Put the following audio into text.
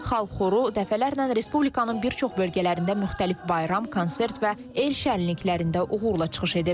Xalq xoru dəfələrlə Respublikanın bir çox bölgələrində müxtəlif bayram, konsert və el şənliklərində uğurla çıxış edib.